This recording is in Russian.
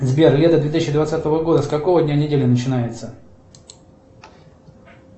сбер лето две тысячи двадцатого года с какого дня недели начинается